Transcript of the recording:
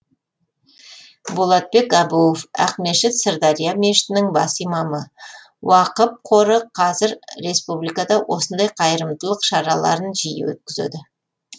болатбек әбуов ақмешіт сырдария мешітінің бас имамы уақып қоры қазір республикада осындай қайырымдылық шараларын жиі өткізеді